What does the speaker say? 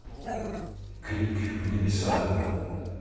крик в небеса